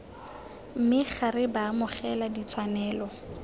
me ga re baamogela ditshwanelo